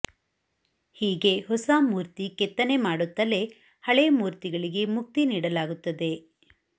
ಹೀಗೆ ಹೊಸ ಮೂರ್ತಿ ಕೆತ್ತನೆ ಮಾಡುತ್ತಲೇ ಹಳೇ ಮೂರ್ತಿಗಳಿಗೆ ಮುಕ್ತಿ ನೀಡಲಾಗುತ್ತದೆ